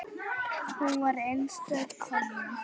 Hún var einstök kona.